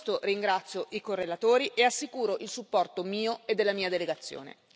Per questo ringrazio i correlatori e assicuro il supporto mio e della mia delegazione.